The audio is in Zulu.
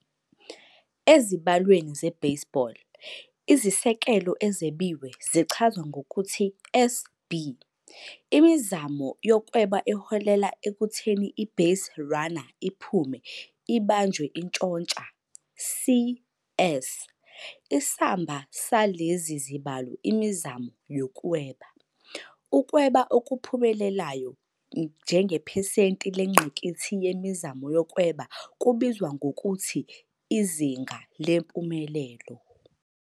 Ezibalweni ze - baseball, izisekelo ezebiwe zichazwa ngokuthi SB. Imizamo yokweba eholela ekutheni i-baserunner iphume "ibanjwe intshontsha", CS. Isamba salezi zibalo "imizamo yokweba."Ukweba okuphumelelayo njengephesenti lengqikithi yemizamo yokweba kubizwa ngokuthi "izinga lempumelelo."